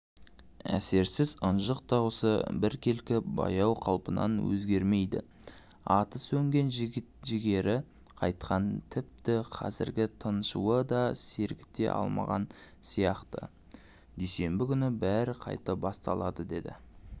әсерсіз ынжық дауысы біркелкі баяу қалпынан өзгермейді оты сөнген жігері қайтқан тіпті қазіргі тыншуы да сергіте алмаған сияқтыдүйсенбі күні бәрі қайта басталады деді